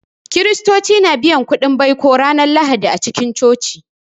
Kiristoci na biyan kuɗin baiko ranar Lahadi a cikin Coci